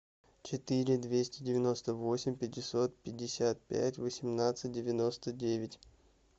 четыре двести девяносто восемь пятьсот пятьдесят пять восемнадцать девяносто девять